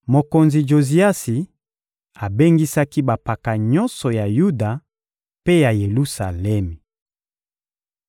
Mokonzi Joziasi abengisaki bampaka nyonso ya Yuda mpe ya Yelusalemi.